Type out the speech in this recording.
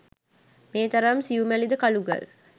මේ තරම් සියුමැලි ද කළුගල්